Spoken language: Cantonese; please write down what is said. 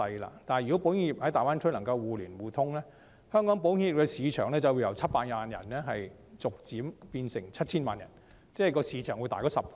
如果保險業能夠在大灣區互連互通，香港保險業的市場就會由700萬人逐漸變成 7,000 萬人，市場會增大10倍。